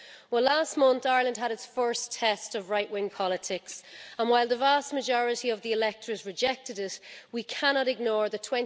Well, last month, Ireland had its first test of right-wing politics, and while the vast majority of the electorate rejected it, we cannot ignore that